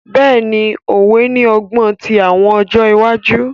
Bẹ́ẹ̀ni, Òwe ni ọgbọn ti awọn ọjọ iwaju.